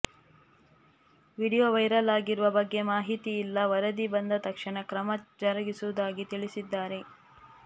video viral ಆಗಿರುವ ಬಗ್ಗೆ ಮಾಹಿತಿ ಇಲ್ಲ ವರದಿ ಬಂದ ತಕ್ಷಣ ಕ್ರಮ ಜರುಗಿಸುವುದಾಗಿ ತಿಳಿಸಿದ್ದಾರೆ